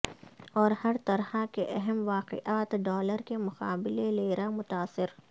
اور ہر طرح کے اہم واقعات ڈالر کے مقابلے لیرا متاثر